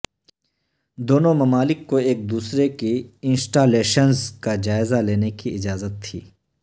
دونوں ممالک کو ایک دوسرے کی انسٹالیشنز کا جائزہ لینے کی اجازت تھی